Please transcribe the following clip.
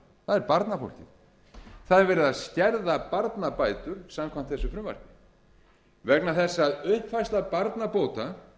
barnafólkið það er verið að skerða barnabætur samkvæmt þessu frumvarpi vegna þess að uppfærsla barnabóta